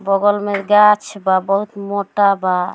बगल में गाछ बा बहुत मोटा बा।